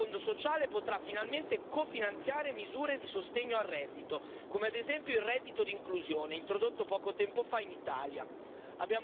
Il nuovo Fondo sociale potrà finalmente cofinanziare misure di sostegno al reddito, come ad esempio il reddito d'inclusione introdotto poco tempo fa in Italia.